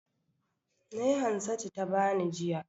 Nai Hansatu ta bani, jiya.